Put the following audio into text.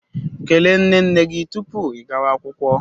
Kelee nne nne gị tupu ị gawa akwụkwọ.